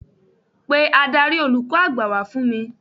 Pe Ádárì olùkọ́ àgbà wá fún mi.